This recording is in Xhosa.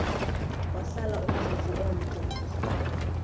wahlala umzuzu omde